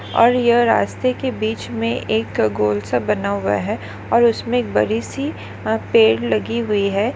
और यह रास्ते के बीच मे एक गोल सा बना हुआ है और उसमे एक बड़ी सी अह पेड़ लगी हुई है।